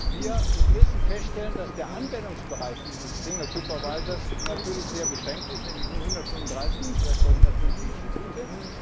Wir müssen feststellen, dass der Anwendungsbereich dieses single supervisor natürlich sehr beschränkt ist, nämlich auf nur 135 bis etwa 150 Institute.